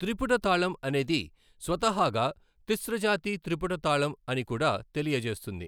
త్రిపుట తాళం అనేది స్వతహాగా తిస్ర జతి త్రిపుట తాళం అని కూడా తెలియజేస్తుంది.